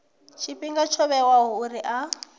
tshifhinga tsho vhewaho uri a